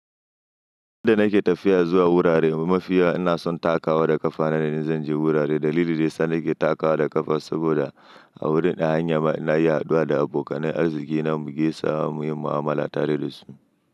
Yadda nake tafiya zuwa wurare mafiya ina son takawa da ƙafa nane idan zan je wurare. Dalili dayasa nake takawa da ƙafa saboda a wurin hanyar nayi haɗuwa da abokanai arziki na mugaisa muyi mu'amala tare da su.